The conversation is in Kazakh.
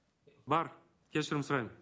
бар кешірім сұраймын